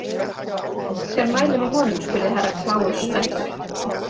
Hver mælir með honum spurði Herra Kláus spenntur.